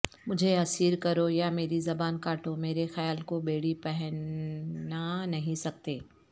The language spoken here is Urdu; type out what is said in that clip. مجھے اسیر کرو یا مری زباں کاٹو مرے خیال کو بیڑی پہنا نہیں سکتے